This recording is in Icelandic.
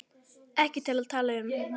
Ekki til að tala um.